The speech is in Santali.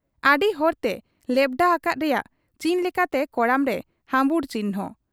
ᱟᱹᱰᱤᱦᱚᱲᱛᱮ ᱞᱮᱣᱰᱷᱟ ᱦᱟᱠᱟᱫ ᱨᱮᱭᱟᱜ ᱪᱤᱱ ᱞᱮᱠᱟᱛᱮ ᱠᱚᱲᱟᱢᱨᱮ ᱦᱟᱹᱢᱵᱩᱲ ᱪᱤᱱᱦᱟᱹ ᱾